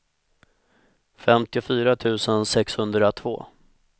femtiofyra tusen sexhundratvå